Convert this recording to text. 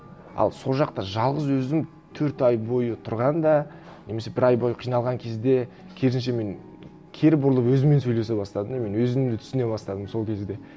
ал сол жақта жалғыз өзің төрт ай бойы тұрғанда немесе бір ай бойы қиналған кезде керісінше мен кері бұрылып өзіммен сөйлесе бастадым и мен өзімді түсіне бастадым сол кезде